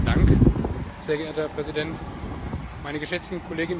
Herr Präsident, meine geschätzten Kolleginnen und Kollegen!